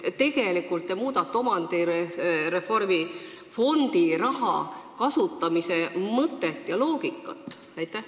Tegelikult te muudate omandireformi reservfondi raha kasutamise mõtet ja loogikat.